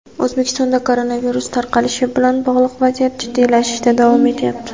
O‘zbekistonda koronavirus tarqalishi bilan bog‘liq vaziyat jiddiylashishda davom etyapti.